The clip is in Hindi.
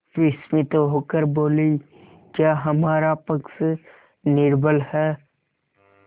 विस्मित होकर बोलीक्या हमारा पक्ष निर्बल है